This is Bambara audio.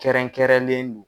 Kɛrɛnkɛrɛnlen